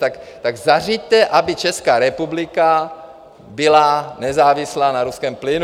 Tak zařiďte, aby Česká republika byla nezávislá na ruském plynu.